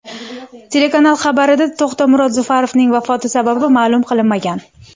Telekanal xabarida To‘xtamurod Zufarovning vafoti sababi ma’lum qilinmagan.